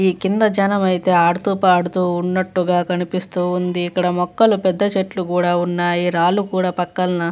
ఈ కింద ఛానల్ అయితే ఆడుతూ పాడుతూ ఉన్నట్టుగా కనిపిస్తూ ఉంది. ఇక్కడ మొక్కలు పెద్ద చెట్లు కూడా ఉన్నాయి. రాళ్లు కూడా పక్కన --